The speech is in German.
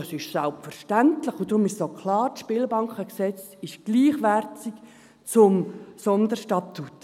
«Das ist selbstverständlich und darum ist es auch klar, das Spielbankengesetz ist gleichwertig zum Sonderstatut.»